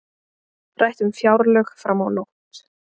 Rætt um fjárlög fram á nótt